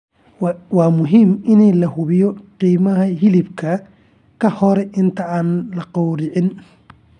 Waa muhiim in la hubiyo qiimaha hilibka ka hor inta aan la gowracin.